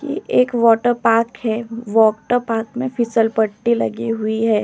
ये एक water park है। वाटर पार्क में फिसल पट्टी लगी हुई है।